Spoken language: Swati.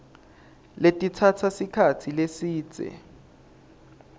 letitsatsa sikhatsi lesidze